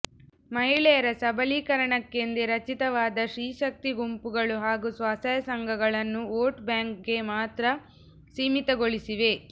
ಮಹಿಳೆಯರ ಸಬಲೀಕರಣಕ್ಕೆಂದೇ ರಚಿತವಾದ ಸ್ತ್ರೀಶಕ್ತಿ ಗುಂಪುಗಳು ಹಾಗೂ ಸ್ವಸಹಾಯ ಸಂಘ ಗಳನ್ನು ವೋಟ್ ಬ್ಯಾಂಕ್ಗೆ ಮಾತ್ರ ಸೀಮಿ ತಗೊಳಿಸಿವೆ